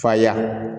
Fa ya